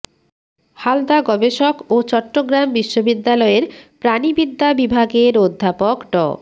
হালদা গবেষক ও চট্টগ্রাম বিশ্ববিদ্যালয়ের প্রাণিবিদ্যা বিভাগের অধ্যাপক ড